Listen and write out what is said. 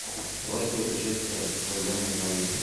просьба решить проблему в номере